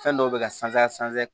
Fɛn dɔw bɛ ka sanfɛ